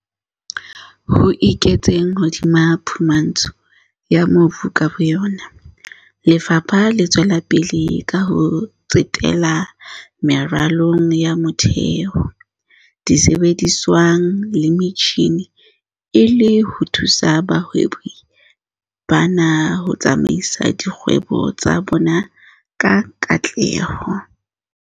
Ho eketseng hodima phumantsho ya mobu ka bo yona, lefapha le tswela pele ka ho tsetela meralong ya motheo, disebedisuweng le metjhineng e le ho thusa bahwebi bana ho tsamaisa dikgwebo tsa bona ka katleho.